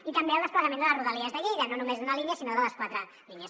i també el desplegament de les rodalies de lleida no només d’una línia sinó de les quatre línies